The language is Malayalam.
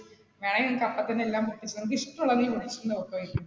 വേണങ്കിൽ നിനക്ക് അപ്പ തന്നെ എല്ലാം പൊട്ടിച്ചു നോക്കി നിനക്കിഷ്ടമുള്ളത് നീ .